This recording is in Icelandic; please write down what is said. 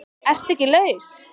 ERTU EKKI LAUS?